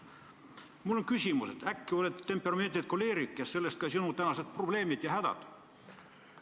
Mul on küsimus: äkki sa oled temperamendilt koleerik ja sellest ka sinu tänased probleemid ja hädad?